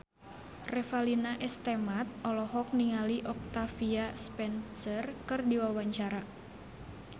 Revalina S. Temat olohok ningali Octavia Spencer keur diwawancara